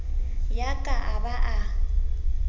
ya ka a ba a